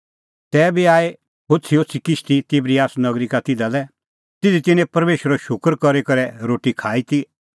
तैबी आई होछ़ीहोछ़ी किश्ती तिबरियस नगरी का तिधा लै ज़िधी तिन्नैं परमेशरो शूकर करी करै रोटी खाई ती